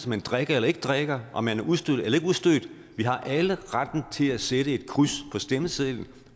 man drikker eller ikke drikker om man er udstødt eller ikke udstødt vi har alle retten til at sætte et kryds på stemmesedlen